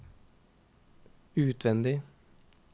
utvendig